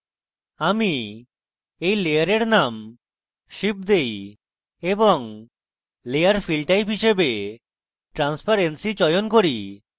আমি এই layer name ship দেই এবং layer fill type হিসাবে transparency চয়ন করি